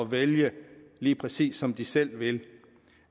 vælge lige præcis som de selv vil